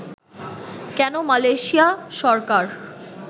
কেন মালয়েশিয়া সরকার